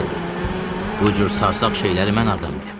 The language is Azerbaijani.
Bu cür sarsaq şeyləri mən hardan bilim?